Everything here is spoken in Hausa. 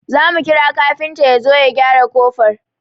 Zamu kira kafinta yazo ya gyara kofar